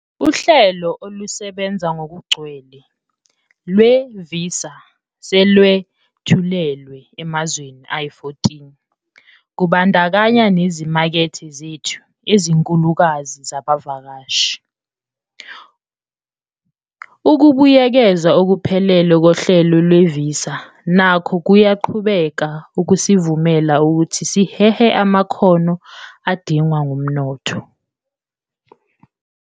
Uhlelo olusebenza ngokugcwele lwee-Visa selwethulilwe emazweni ayi-14, kubandakanya nezimakethe zethu ezinkulukazi zabavakashi. Ukubuyekezwa okuphelele kohlelo lwevisa nako kuyaqhubeka ukusivumela ukuthi sihehe amakhono adingwa ngumnotho wethu.